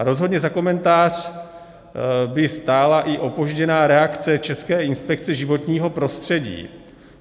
A rozhodně za komentář by stála i opožděná reakce České inspekce životního prostředí.